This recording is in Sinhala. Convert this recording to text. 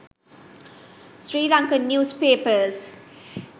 sri lankan news papers